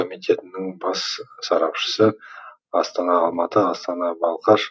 комитетінің бас сарапшысы астана алматы астана балқаш